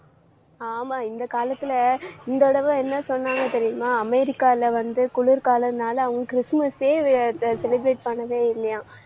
ஆமா இந்த காலத்துல இந்த தடவை என்ன சொன்னாங்க தெரியுமா? அமெரிக்கால வந்து குளிர்காலம்னால அவங்க கிறிஸ்துமஸ்யே அஹ் அஹ் celebrate பண்ணவே இல்லையாம்.